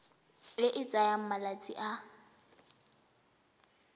e e tsayang malatsi a